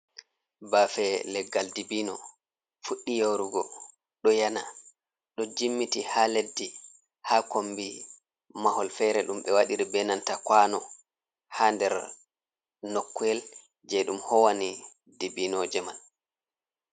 Baafe leggal dibino fuɗɗi yoorugo ɗo yena, ɗo jimmiti haa leddi haa kombi mahol feere, ɗum ɓe wadiri be nanta kwaano haa nder nokkyel jey ɗum howani dibinooje man.